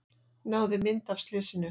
Náði mynd af slysinu